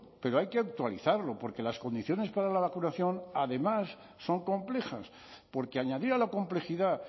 pero hay que actualizarlo porque las condiciones para la vacunación además son complejas porque añadir a la complejidad